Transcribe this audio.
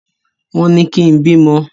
Wọn ní kín bímọ!